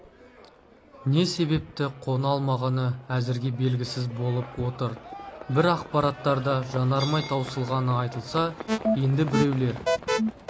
не себепті қона алмағаны әзірге белгісіз болып отыр бір ақпараттарда жанармай таусылғаны айтылса енді біреулер